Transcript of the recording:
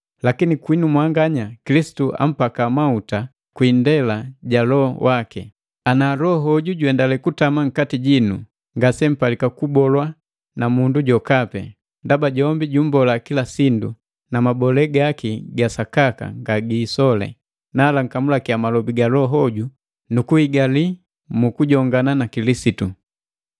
Lakini kwinu mwanganya, Kilisitu ampaka mahuta kwi indela ja loho waki. Ana Loho hoju juendale kutama nkati jinu, ngasempalika kubolwa na mundu jokapi. Ndaba jombi jumbola kila sindu, na mabole gaki ga sakaka, nga gi isole. Nala nkamulikya mabole ga Loho hoju nukuhigali mu kujongana na Kilisitu.